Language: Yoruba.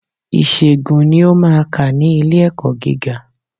Ìṣègùn ni ó maa kà ní ilé ẹ̀kọ́ gíga.